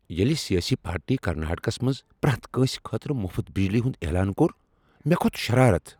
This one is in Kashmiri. ییٚلہ سیٲسی پارٹی کرناٹکس منٛز پرٛیتھ کٲنسہ خٲطرٕ مفٕت بجلی ہنٛد اعلان کوٚر، مےٚ کھوٚت شرارت۔